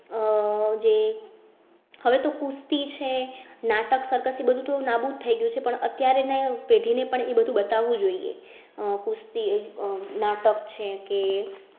આહ જે હવે તો કુસ્તી છે, નાટક circus એ બધું તો નાબૂદ થઈ ગયું છે. પણ અત્યારે ને પેઢી ને પણ એ બધું બતાવ વું જોઈએ. કુસ્તી આહ નાટક છે કે